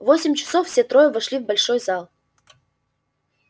в восемь часов все трое вошли в большой зал